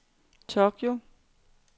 Tokyo